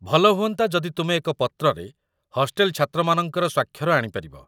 ଭଲ ହୁଅନ୍ତା ଯଦି ତୁମେ ଏକ ପତ୍ରରେ ହଷ୍ଟେଲ ଛାତ୍ରମାନଙ୍କର ସ୍ୱାକ୍ଷର ଆଣିପାରିବ